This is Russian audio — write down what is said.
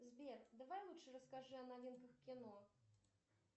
сбер давай лучше расскажи о новинках кино